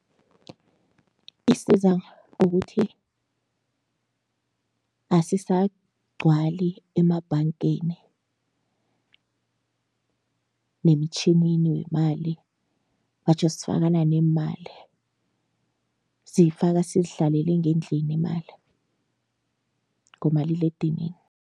Isiza ngokuthi asisagcwali emabhangeni nemitjhinini wemali batjho sifakana neemali, siyifaka sizihlalele ngendlini imali ngomaliledinini.